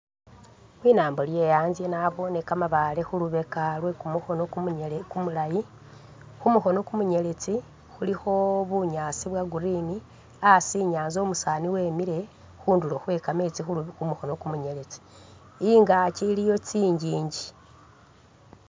Linambo lye atsye nabone kamabaale khulubeka lwekumukhono kumunyele kumulayi khumukhono kumunyeletsi khulikho bunyaasi bwa'green asi inyanza umusaani wemile khundulo khwe kameetsi khumukhono kumunyeletsi, ingaakyi iliyo tsinjinji